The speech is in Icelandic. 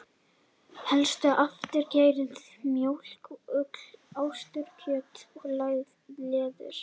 Helstu afurðir geita eru mjólk, ull, ostur, kjöt og leður.